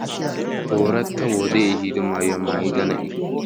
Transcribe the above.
Ooratta wodee ehiido maayuwa maayida na'iyo.